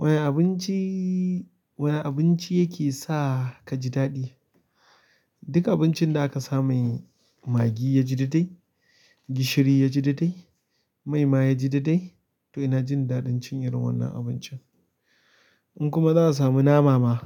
Wani abinci, wani abinci yake sa kaji daɗi? Duk abincin da aka sa mai maggi yaji daidai, gishiri yaji daidai, mai ma yaji daidai to ina jin daɗin cin irin wannan abincin. In kuma za'a samu nama ma